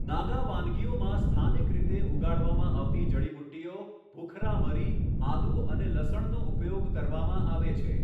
નાગા વાનગીઓમાં સ્થાનિક રીતે ઉગાડવામાં આવતી જડીબુટ્ટીઓ, ભૂખરા મરી, આદુ અને લસણનો ઉપયોગ કરવામાં આવે છે.